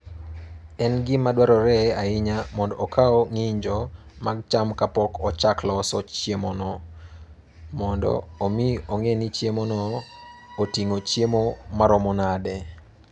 En gima dwarore ahinya mondo okaw ng'injo mag cham kapok ochak loso chiemono, mondo omi ong'e ni chiemono oting'o chiemo maromo nade.